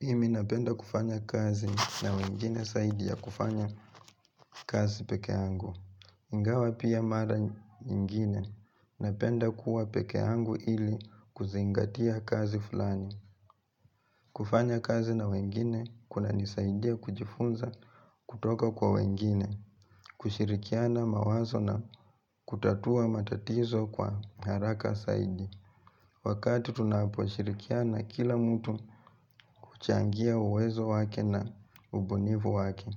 Mimi napenda kufanya kazi na wengine saidi ya kufanya kazi pekeangu. Ingawa pia mara nyingine napenda kuwa pekeangu ili kuzingatia kazi flani. Kufanya kazi na wengine kunanisaidia kujifunza kutoka kwa wengine, kushirikiana mawazo na kutatua matatizo kwa haraka saidi. Wakati tunaposhirikiana kila mtu huchangia uwezo wake na ubunivu wake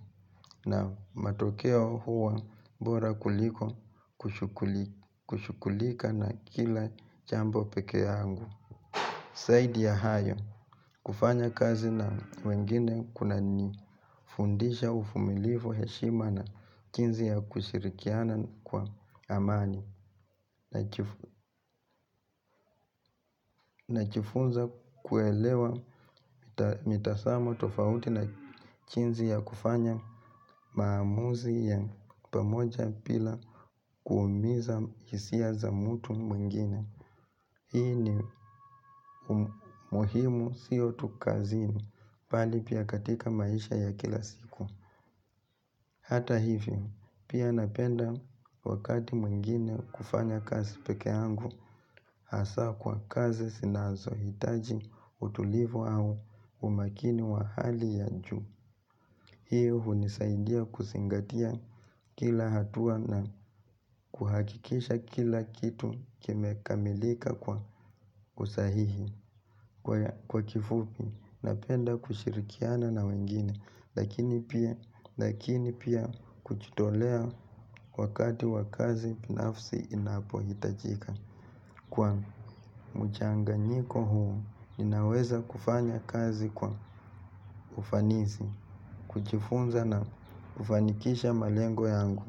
na matokeo huwa bora kuliko kushukulika na kila chambo peke yangu. Saidi ya hayo kufanya kazi na wengine kunanifundisha ufumilifu heshima na jinzi ya kushirikiana kwa amani. Najifunza kuelewa mitasamo tofauti na chinzi ya kufanya maamuzi ya pamoja pila kuumiza hisia za mtu mwingine. Hii ni umuhimu siyo tu kazini, pali pia katika maisha ya kila siku. Hata hivi, pia napenda wakati mwengine kufanya kazi pekeangu, hasa kwa kazi sinazohitaji utulivu au umakini wa hali ya juu. Hiyo hunisaidia kusingatia kila hatua na kuhakikisha kila kitu kimekamilika kwa usahihi kwa kifupi napenda kushirikiana na wengine lakini pia kuchitolea wakati wa kazi pinafsi inapohitajika. Kwa mchanganyiko huu ninaweza kufanya kazi kwa ufanisi, kujifunza na kufanikisha malengo yangu.